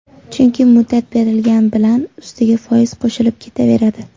Chunki muddat berilgani bilan ustiga foiz qo‘shilib ketaveradi.